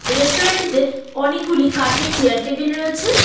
রেস্তোরাঁটিতে অনেকগুলি কাঠের chair table রয়েছে।